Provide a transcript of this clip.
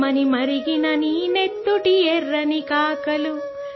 खून तेरा सुलगा और आग उगला